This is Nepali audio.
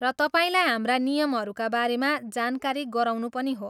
र तपाईँलाई हाम्रा नियमहरूका बारेमा जानकारी गराउनु पनि हो।